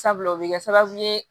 Sabula o bɛ kɛ sababu ye